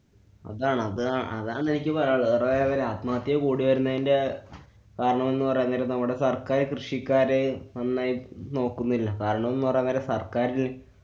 അതാണ്‌ അതാ~ അതാണെനിക്ക് പറയാനുള്ളത്. നിറെപേരു ആത്മഹത്യ കൂടി വരുന്നേന്‍ടെകാരണമെന്നു പറയാന്‍ നേരം നമ്മടെ സര്‍ക്കാര്, കൃഷിക്കാര് നന്നായി നോക്കുന്നില്ല. കാരണംന്നു പറയാന്‍ നേരം സര്‍ക്കാരില്‍